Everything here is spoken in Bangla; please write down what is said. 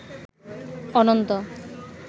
অনন্ত